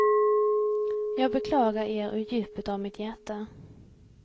Jag beklagar er ur djupet av mitt hjärta.